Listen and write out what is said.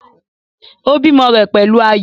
Ó bímọ rẹ̀ pẹ̀lú ayọ̀